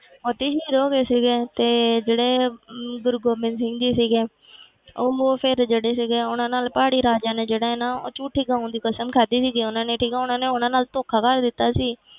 ਉੱਥੇ ਸ਼ਹੀਦ ਹੋ ਗਏ ਸੀਗੇ ਤੇ ਜਿਹੜੇ ਅਮ ਗੁਰੂ ਗੋਬਿੰਦ ਸਿੰਘ ਜੀ ਸੀਗੇ ਉਹ ਮ~ ਫਿਰ ਜਿਹੜੇ ਸੀਗੇ ਉਹਨਾਂ ਨਾਲ ਪਹਾੜੀ ਰਾਜਿਆਂ ਨੇ ਜਿਹੜਾ ਹੈ ਨਾ ਝੂਠੀ ਗਊਆਂ ਦੀ ਕਸਮ ਖਾਧੀ ਸੀ ਉਹਨਾਂ ਨੇ ਠੀਕ ਹੈ, ਉਹਨਾਂ ਨੇ ਉਹਨਾਂ ਨਾਲ ਧੋਖਾ ਕਰ ਦਿੱਤਾ ਸੀ,